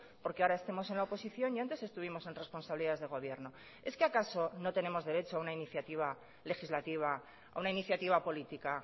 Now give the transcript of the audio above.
porque ahora estemos en la oposición y antes estuvimos en responsabilidades de gobierno es que acaso no tenemos derecho a una iniciativa legislativa a una iniciativa política